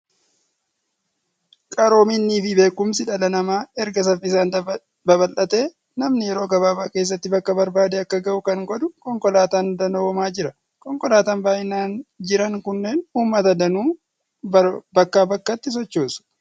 Qaroominnii fi beekumsi dhala namaa erga saffisaan babal'atee, namni yeroo gabaabaa keessatti bakka barbaade akka gahu kan godhu konkolaataan danoomaa jira. Konkolaataan baay'inaan jiran kunneen uummata danuu bakkaa bakkatti sochoosu.